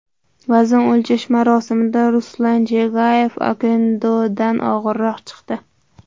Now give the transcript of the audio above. Vazn o‘lchash marosimida Ruslan Chagayev Okendodan og‘irroq chiqdi .